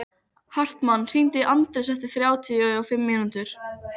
Hartmann, hringdu í Anders eftir þrjátíu og fimm mínútur.